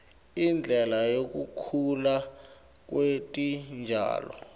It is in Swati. indlela yekukhula kwetitjalo